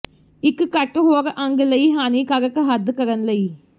ਇੱਕ ਘੱਟ ਹੋਰ ਅੰਗ ਲਈ ਹਾਨੀਕਾਰਕ ਹੱਦ ਕਰਨ ਲਈ